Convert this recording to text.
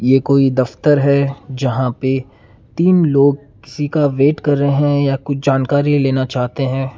ये कोई दफ़्तर है जहाँ पे तीन लोग किसी का वेट कर रहे हैं या और कुछ जानकारी लेना चाहते हैं।